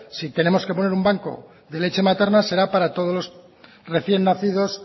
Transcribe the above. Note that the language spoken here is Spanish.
si tenemos que poner un banco de leche materna será para todos los recién nacidos